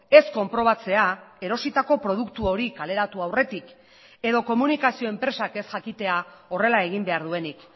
ez konprobatzea erositako produktu hori kaleratu aurretik edo komunikazio enpresak ez jakitea horrela egin behar duenik